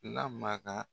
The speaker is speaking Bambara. Lamara